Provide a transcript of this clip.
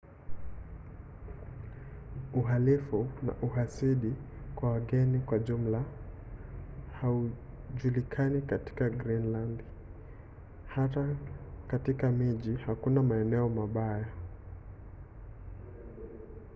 uhalifu na uhasidi kwa wageni kwa jumla haujulikani katika grinlandi. hata katika miji hakuna maeneo mabaya